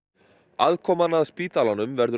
aðkoman að spítalanum verður